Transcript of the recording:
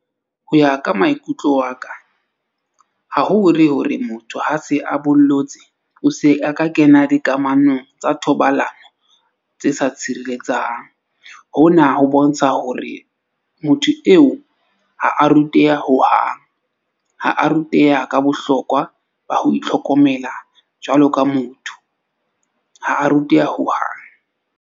Ho ya ka maikutlo a ka, ha ho re hore motho ha se a bollotse, o se a ka kena dikamanong tsa thobalano tse sa tshireletsang. Hona ho bontsha hore motho eo ha a ruteha hohang. Ha a ruteha ka bohlokwa ba ho itlhokomela jwalo ka motho, ha a ruteha hohang.